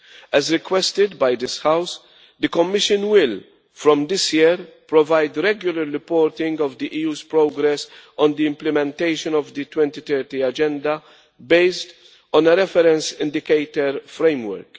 As requested by this House, the Commission will, from this year, provide regular reporting of the EU's progress on the implementation of the 2030 Agenda based on a reference indicator framework.